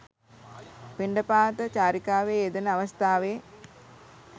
පිණ්ඩපාත චාරිකාවේ යෙදෙන අවස්ථාවේ